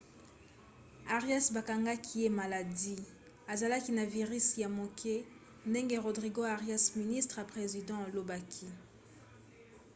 arias bakangaki ye maladi azalaki na virisi ya moke ndenge rodrigo arias ministre ya president alobaki